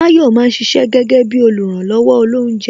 Tayọ máa ń ṣiṣẹ́ gẹ́gẹ́ bí oluranlowo olounje